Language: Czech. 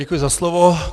Děkuji za slovo.